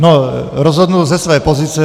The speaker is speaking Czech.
No, rozhodnu ze své pozice.